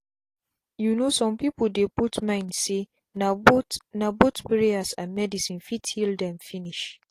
you know some people dey put mind say na both na both prayers and medicine fit heal them finish.